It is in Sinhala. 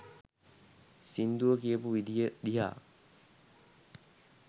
සිංදුව කියපු විදිය දිහා